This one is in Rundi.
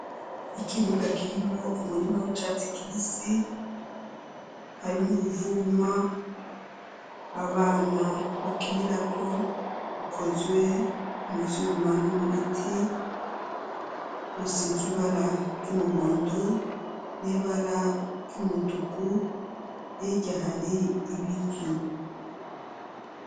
Ikibuga, kirimwo umurima w'icatsi kibisi, harimwo uruvuma, abana bakinirako, rukozwe mu vyuma no mu biti; rusizwe ibara ry'umuhondo, n'ibara ry'umutuku, hirya, hari ibiti.